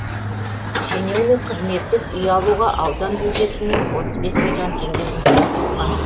шенеунік қызметтік үй алуға аудан бюджетінің отыз бес миллион теңге жұмсамақ болған